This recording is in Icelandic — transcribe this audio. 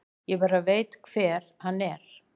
Ég bara veit hver hann er.